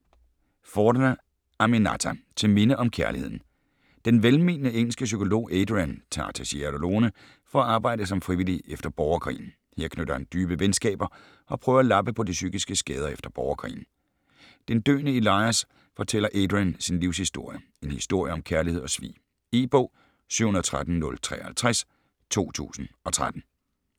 Forna, Aminatta: Til minde om kærligheden Den velmenende engelske psykolog Adrian tager til Sierra Leone for at arbejde som frivillig efter borgerkrigen. Her knytter han dybe venskaber, og prøver at lappe på de psykiske skader efter borgerkrigen. Den døende Elias fortæller Adrian sin livshistorie. En historie om kærlighed og svig. E-bog 713053 2013.